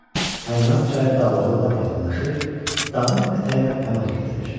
Salinas çayı dağlara lap yaxınlaşır, dağın ətəyinə pənah gətirir.